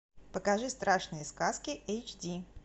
покажи страшные сказки эйч ди